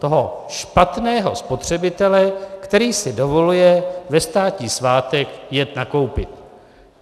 Toho špatného spotřebitele, který si dovoluje ve státní svátek jet nakoupit.